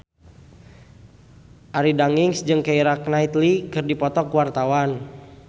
Arie Daginks jeung Keira Knightley keur dipoto ku wartawan